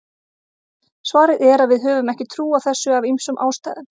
svarið er að við höfum ekki trú á þessu af ýmsum ástæðum